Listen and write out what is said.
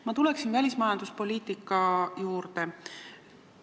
Ma tulen välismajanduspoliitika juurde.